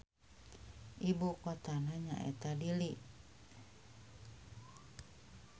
Ibu kotana nyaeta Nili.